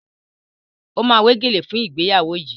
O ma wé gèlè fún ìgbéyàwó yìí